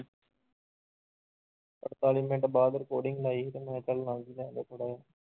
ਅੜਤਾਲੀ ਮਿੰਟ ਬਾਅਦ recording ਲਾਈ ਸੀ ਤੇ ਮੈਂ ਥੋੜ੍ਹਾ ਜਿਹਾ